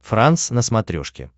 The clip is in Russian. франс на смотрешке